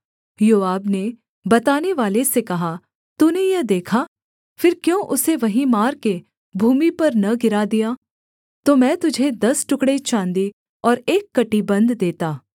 योआब ने बतानेवाले से कहा तूने यह देखा फिर क्यों उसे वहीं मारकर भूमि पर न गिरा दिया तो मैं तुझे दस टुकड़े चाँदी और एक कमरबन्ध देता